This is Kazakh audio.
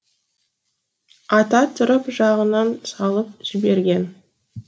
ата тұрып жағынан салып жіберген